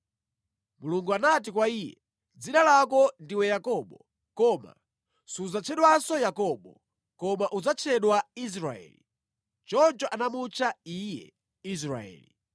Mulungu anati kwa iye, “Dzina lako ndiwe Yakobo, koma sudzatchedwanso Yakobo; koma udzatchedwa Israeli.” Choncho anamutcha iye Israeli.